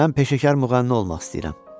Mən peşəkar müğənni olmaq istəyirəm.